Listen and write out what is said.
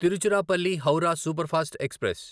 Tiruchirappalli Howrah superfast express